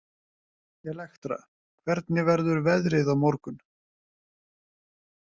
Elektra, hvernig verður veðrið á morgun?